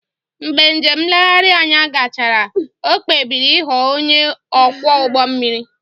Mgbe njem nlegharị anya gachara, o kpebiri ịghọ onye ọkwọ ụgbọ mmiri